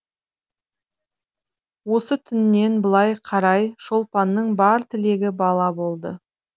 осы түннен былай қарай шолпанның бар тілегі бала болды